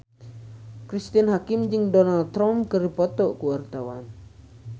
Cristine Hakim jeung Donald Trump keur dipoto ku wartawan